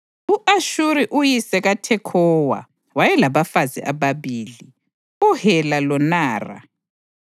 U-Ashuri uyise kaThekhowa wayelabafazi ababili, uHela loNara.